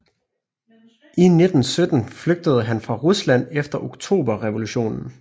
I 1917 flygtede han fra Rusland efter oktoberrevolutionen